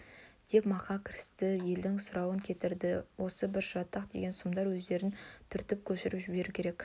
деп мақа кірісті елдің сұрын кетірді осы бір жатақ деген сұмдар өздерін түртіп көшіріп жіберу керек